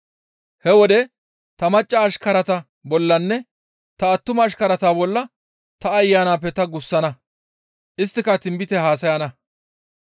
He wode ta macca ashkarata bollanne ta attuma ashkarata bolla ta Ayanappe ta gussana. Isttika tinbite haasayana.